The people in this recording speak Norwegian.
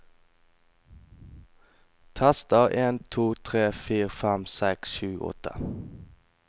Tester en to tre fire fem seks sju åtte